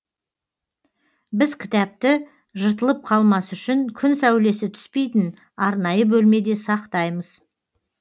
біз кітапты жыртылып қалмас үшін күн сәулесі түспейтін арнайы бөлмеде сақтаймыз